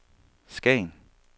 Skagen